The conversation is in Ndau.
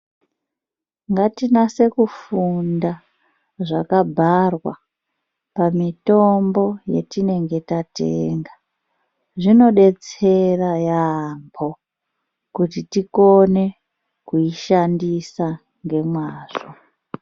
Ngatinase kufunda zvakabharwa pamitombo yatinenge tatenga zvinodetsera yambo kuti tikone kuishandisa ngemazvo.